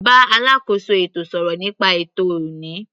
Bá alákóso ètò sọ̀rọ̀ nípa ètò ọ̀ní.